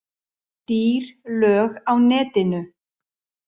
Dýr lög á netinu